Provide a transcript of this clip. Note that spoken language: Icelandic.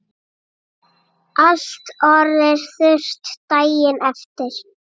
Allt orðið þurrt daginn eftir.